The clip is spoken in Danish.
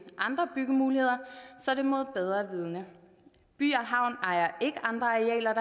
andre byggemuligheder så er det mod bedre vidende by og havn ejer ikke andre arealer